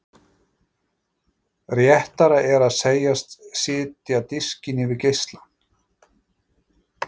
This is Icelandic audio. Réttara er að segjast setja diskinn yfir geislann.